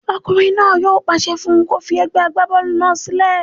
Ọkùnrin náà yóò pàṣẹ fún un kó fi egbẹ́ agbábọ́ọ̀lù náà sílẹ̀